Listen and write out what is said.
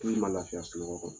K'i ma lafiya sunɔgɔ kɔnɔ